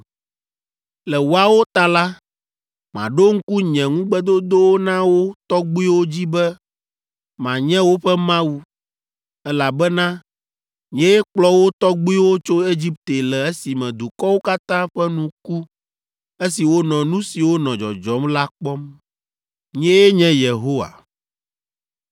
Le woawo ta la, maɖo ŋku nye ŋugbedodowo na wo tɔgbuiwo dzi be manye woƒe Mawu, elabena nyee kplɔ wo tɔgbuiwo tso Egipte le esime dukɔwo katã ƒe nu ku esi wonɔ nu siwo nɔ dzɔdzɔm la kpɔm. Nyee nye Yehowa!”